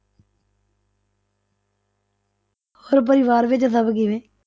ਹੋਰ ਪਰਿਵਾਰ ਵਿੱਚ ਸਭ ਕਿਵੇਂ?